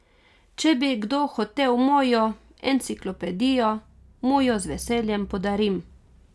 Če bi kdo hotel mojo Enciklopedijo, mu jo z veseljem podarim.